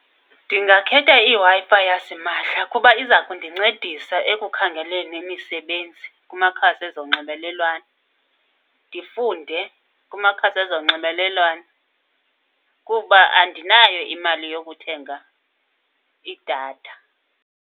Ndingakhetha iWi-Fi yasimahla kuba iza kundincedisa ekukhangeleni imisebenzi kumakhasi ezonxibelelwano. Ndifunde kumakhasi ezonxibelelwano, kuba andinayo imali yokuthenga idatha.